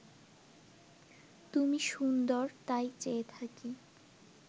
তুমি সুন্দর তাই চেয়ে থাকি